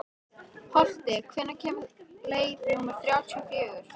Holti, hvenær kemur leið númer þrjátíu og fjögur?